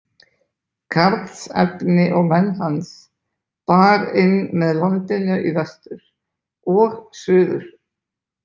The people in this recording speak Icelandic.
Karlsefni og menn hans bar inn með landinu í vestur og suður.